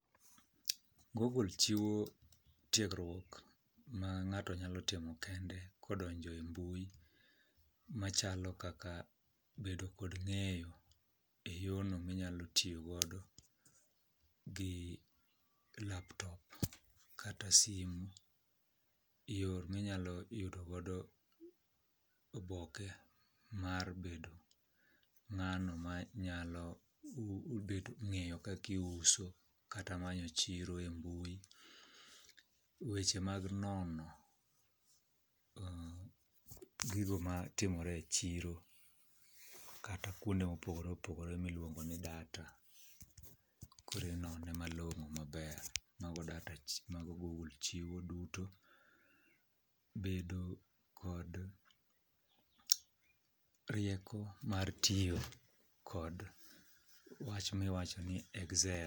Google chiwo tiegruok ma ng'ato nyalo timo kendo kodonjo e mbui, machalo kaka bedo kod ng'eyo e yono minyalo tiyo godo gi laptop kata simu. Yor minyalo yudo gogo oboke mar bedo ng'ano ma nyalo wu bedo ng'eyo kakiuso kata manyo chiro e mbui. Weche mag nono gigo ma timore e chiro kata kuonde mopogore opogore miluongo ni data. Korinone malong'o maber mago data mago Google chiwo duto. Bedo kod rieko mar tiyo kod wach miwacho ni Excel.